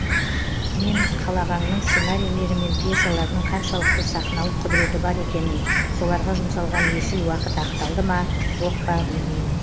мен қал ағаңның сценарийлері мен пьесаларының қаншалықты сақналық құдіреті бар екенін соларға жұмсалған есіл уақыт ақталды ма жоқ па білмеймін